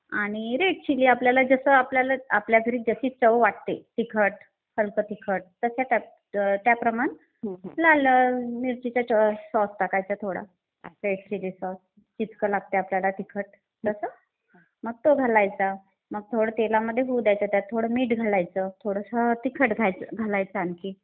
आणि red chilli आपल्याला जसं आपल्याला, आपल्या घरी जशी चव वाटते तिखट, हल्क तिखट, तशा त्या प्रमाणात लाल मिरचीचा सॉस टाकायचा थोडा रेड चिली सॉस. जितकं लागतंय आपल्याला तिखट तसं. मग तो घालायचा. मग थोडं तेलामध्ये होऊ द्यायचे, त्यात थोडं मीठ घालायचं, थोडंसं तिखट घालायचं आणखी.